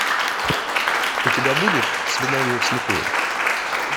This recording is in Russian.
у тебя будет свидание вслепую